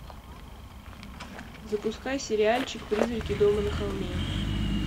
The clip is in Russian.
запускай сериальчик призраки дома на холме